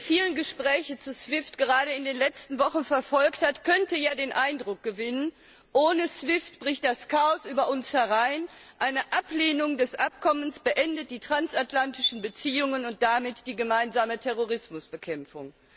Wer die vielen Gespräche zu SWIFT gerade in den letzten Wochen verfolgt hat, könnte ja den Eindruck gewinnen, ohne SWIFT bricht das Chaos über uns herein, eine Ablehnung des Abkommens beendet die transatlantischen Beziehungen und damit die gemeinsame Terrorismusbekämpfung.